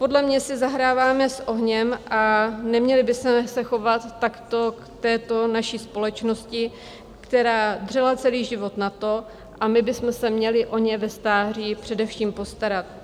Podle mě si zahráváme s ohněm a neměli bychom se chovat takto k této naší společnosti, která dřela celý život na to... a my bychom se měli o ně ve stáří především postarat.